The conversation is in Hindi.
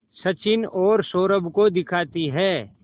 सचिन और सौरभ को दिखाती है